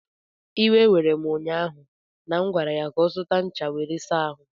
iwe were m ụnyaahụ na m gwara ya ka ọ gaa zụta ncha were saa ahu!